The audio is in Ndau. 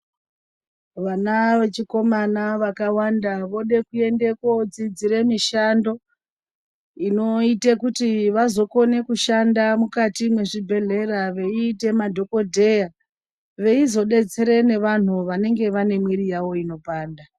Vana vechikomana vakawanda vode kuende kodzidzire mushando inoita kuti vazokone kushanda mukati mezvibhedhlera veiite madgokodheya veizodetsere nevanhu vabenge vabe mwiri yawo inopanda.